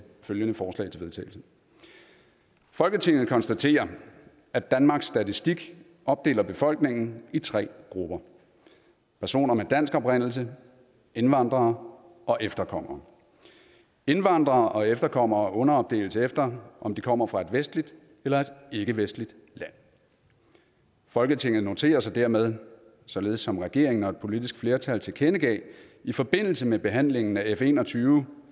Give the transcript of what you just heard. følgende forslag til vedtagelse folketinget konstaterer at danmarks statistik opdeler befolkningen i tre grupper personer med dansk oprindelse indvandrere og efterkommere indvandrere og efterkommere underopdeles efter om de kommer fra et vestligt eller et ikkevestligt land folketinget noterer sig dermed således som regeringen og et politisk flertal tilkendegav i forbindelse med behandlingen af f en og tyve